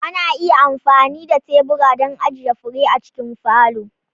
Ana iya amfani da tebura don ajiye fure a cikin falo.